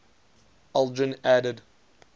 aldrin added